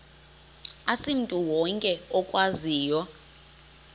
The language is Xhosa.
asimntu wonke okwaziyo